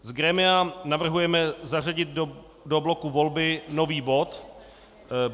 Z grémia navrhujeme zařadit do bloku Volby nový bod.